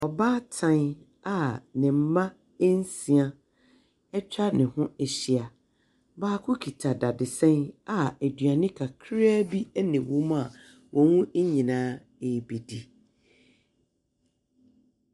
Ɔbaatan a ne mmaa nsia atwa ne ho ahyia. Baako kita dadesɛn a aduane kakraa bi na ɛwɔ mu a wɔn nyinaa rebɛdi.